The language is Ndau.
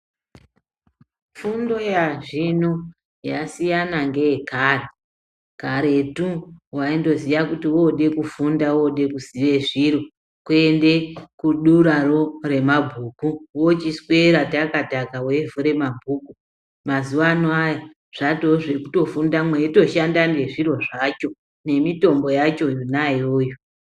Fundo yazvino yasiyana ngeyekare. Karetu, waindoziya kuti woode kufunda wode kuziye zviro kuende kuduraro remabhuku, wochiswera taka-taka weivhure mabhuku. Mazuwaano aya zvatoo vekutofunda mweitoshanda ngezviro zvacho, nemitombo yacho yona iyoyo.